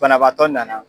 Banabaatɔ nana